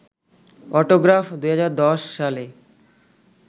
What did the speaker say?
autograph ২০১০ সালে